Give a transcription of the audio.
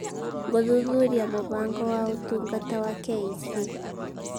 Gũthuthuria Mũbango wa Ũtungata wa KEC